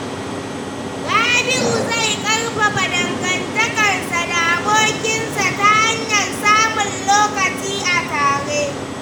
Rabi’u zai ƙarfafa dangantakarsa da abokinsa ta hanyar samun lokaci a tare.